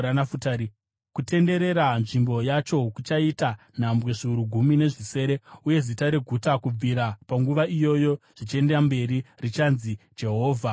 “Kutenderera nzvimbo yacho kuchaita nhambwe zviuru gumi nezvisere. “Uye zita reguta kubvira panguva iyoyo zvichienda mberi richanzi: Jehovha aripo.”